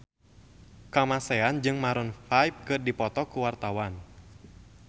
Kamasean jeung Maroon 5 keur dipoto ku wartawan